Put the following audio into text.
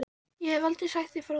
Ég hef aldrei sagt þér frá því.